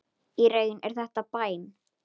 Í raun er þetta bæn.